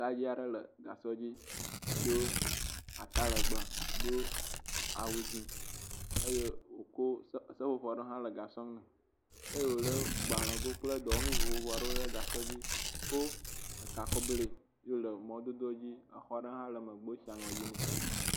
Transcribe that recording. Dayi aɖe le gasɔ dzi do atalegbe, do awu dzi eye wokɔ se seƒoƒo aɖe hã le gasɔ nu eye wole gbalego kple dɔwɔnu vovovo aɖewo ɖe gasɔ dzi ko ga kɔ blɛ ye wole mɔdodo dzi exɔ ɖe hã le megbe wosi aŋɔ yi nɛ.